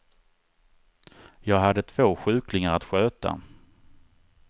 Jag hade två sjuklingar att sköta.